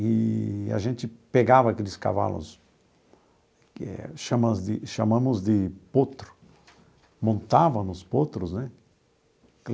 Eee a gente pegava aqueles cavalos que chamamos de chamamos de potro, montava nos potros, né?